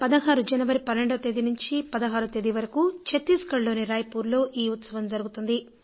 ఈ ఏడాది జనవరి 12 నుంచి 16 వరకు ఛత్తీస్ గఢ్ లోని రాయ్పూర్లో ఈ ఉత్సవం జరుగుతుంది